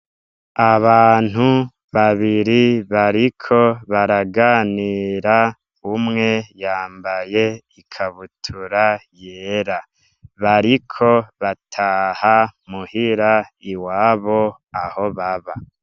Abantu babiri bariko baraganira. Umwe yambaye ikabutura yera. Bariko bataha muhira iwabo aho baba.